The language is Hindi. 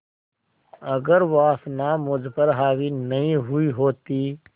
अगर वासना मुझ पर हावी नहीं हुई होती